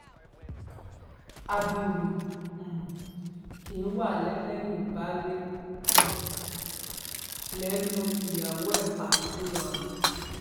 abiru um kí wàá lélẹyìí baálé um ilé lu ìyàwó ẹ pa ńlórìn